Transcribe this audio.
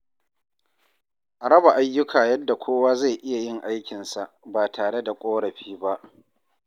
A raba ayyuka yadda kowa zai iya yin aikinsa ba tare da ƙorafi ba.